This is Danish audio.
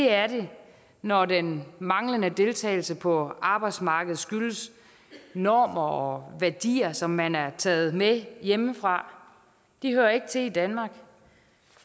er det når den manglende deltagelse på arbejdsmarkedet skyldes normer og værdier som man har taget med hjemmefra de hører ikke til i danmark